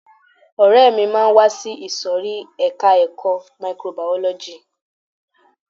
Ọ̀rẹ́ mi máa wá sí ìsòrí ẹka ẹ̀kọ́ microbiology.